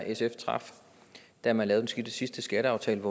sf traf da man lavede den sidste skatteaftale